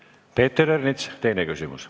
Peeter Ernits, teine küsimus.